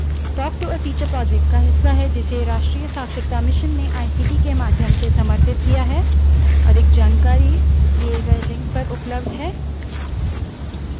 Linux spoken tutorial के इस भाग के लिए बस इतना ही spoken tutorial talk to a teacher project का हिस्सा है जिसे राष्ट्रीय साक्षरता mission ने ict के माध्यम से समर्थित किया है